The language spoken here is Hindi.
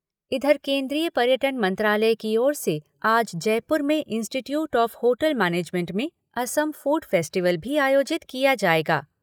इधर केन्द्रीय पर्यटन मंत्रालय की ओर से आज जयपुर में इंस्टीट्यूट ऑफ़ होटल मैनेजमेंट में असम फ़ूड फ़ेस्टिवल भी आयोजित किया जाएगा।